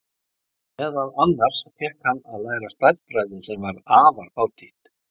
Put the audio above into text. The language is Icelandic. Meðal annars fékk hann að læra stærðfræði sem var afar fátítt.